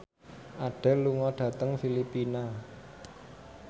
Adele lunga dhateng Filipina